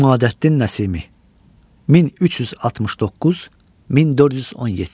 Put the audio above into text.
İmadəddin Nəsimi 1369-1417.